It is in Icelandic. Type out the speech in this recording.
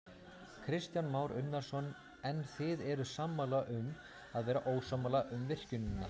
Kristján Már Unnarsson: En þið eruð sammála um að vera ósammála um virkjunina?